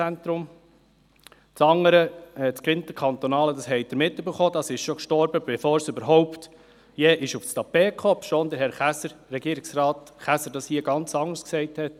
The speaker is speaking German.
Das andere, das interkantonale, ist schon gestorben – Sie haben es mitbekommen –, bevor es überhaupt je aufs Tapet kam, obschon Herr Regierungsrat Käser das hier ganz anders gesagt hatte.